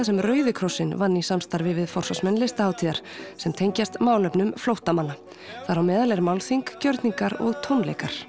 sem Rauði krossinn vann í samstarfi við Listahátíðar sem tengjast málefnum flóttamanna þar á meðal eru málþing gjörningar og tónleikar